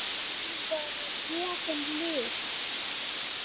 Honum voru gefin lyf.